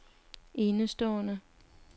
enestående